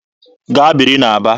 Gaa biri n'Aba!